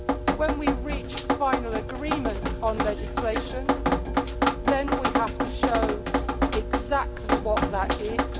When we reach final agreement on legislation we have to show exactly what that is.